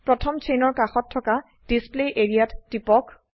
প্ৰথম চেইনৰ কাষত থকা ডিছপ্লে এৰিয়া ত টিপক